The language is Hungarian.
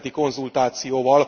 nemzeti konzultációval.